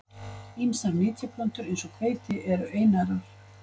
Ýmsar nytjaplöntur eins og hveiti eru einærar.